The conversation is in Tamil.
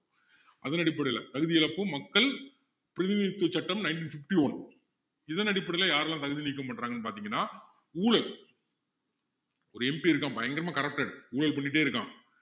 அதனடிப்படையில் தகுதியிழப்பு மக்கள் பிரதிநிதித்துவ சட்டம் ninety fifty-one இதனடிப்படையில யாரெல்லாம் தகுதி நீக்கம் பண்றாங்கன்னு பாத்திங்கன்னா ஊழல் ஒரு MP இருக்கான் பயங்கரமா corrupted ஊழல் பண்ணிட்டே இருக்கான்